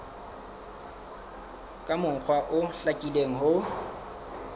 ka mokgwa o hlakileng ho